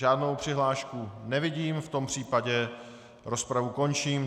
Žádnou přihlášku nevidím, v tom případě rozpravu končím.